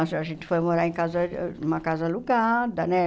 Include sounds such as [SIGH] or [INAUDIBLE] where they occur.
[UNINTELLIGIBLE] A gente foi morar em casa numa casa alugada, né?